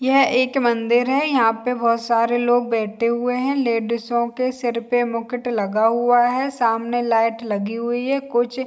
यह एक मंदिर है यहाँ पे बहुत सारे लोग बैठे हुए हैं लेडीसो के सिर पे मुकुट लगा हुआ हे सामने लाइट लगी हुई है कुछ --